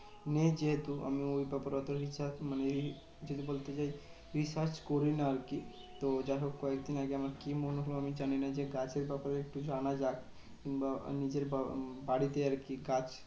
নেই যেহেতু আমি ওই ব্যাপারে অত research মানে যদি বলতে চাই research করি না আরকি। তো যাহোক আমার চেনা জানা কি মনে হলো জানিনা? যে গাছের ব্যাপারে একটু জানা যাক কিংবা নিজের বা~ বাড়িতে আরকি গাছ